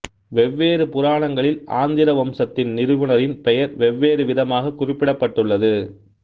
வெவ்வேறு புராணங்களில் ஆந்திர வம்சத்தின் நிறுவுனரின் பெயர் வெவ்வேறு விதமாகக் குறிப்பிடப்பட்டுள்ளது